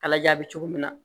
Ala ja bɛ cogo min na